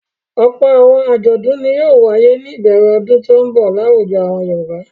Ọ̀pọ̀ àwọn àjọ̀dún ni yóò wáyé ní ìbẹ̀rẹ̀ ọdún tó ń bọ̀ láwùjọ àwọn Yorùbá.